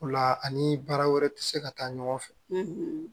O la ani baara wɛrɛ tɛ se ka taa ɲɔgɔn fɛ